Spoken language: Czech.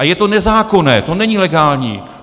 A je to nezákonné, to není legální.